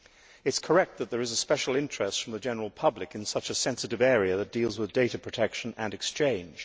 It is correct that there is a special interest from the general public in such a sensitive area that relates to data protection and exchange.